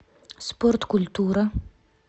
спорткультура